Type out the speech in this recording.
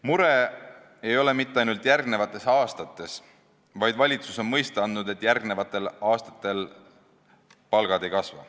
Muretsema ei pane ainult 2020. aasta, sest valitsus on mõista andnud, et ka järgmistel aastatel palgad ei kasva.